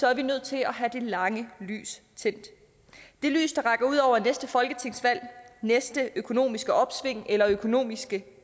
er vi nødt til at have det lange lys tændt det lys der rækker ud over næste folketingsvalg næste økonomiske opsving eller økonomiske